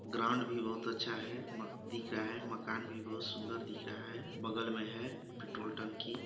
ground भी बहुत अछा हैं दिख रहा है मकान भी बहुत सुंदर दिख रहा है बगल में है पेट्रोल टंकी --